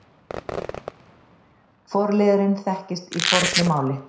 Forliðurinn þekkist í fornu máli.